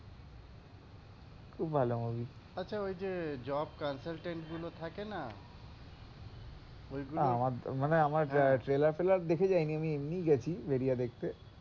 খুব ভালো movie, আচ্ছা ঐ যে job consultant গুলো থাকে না ঐ গুলো, আমার মানে আমার trailer ফেলার দেখে যায়নি আমি এমনই গেছি ভেড়িয়া দেখতে,